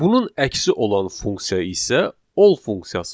Bunun əksi olan funksiya isə All funksiyasıdır.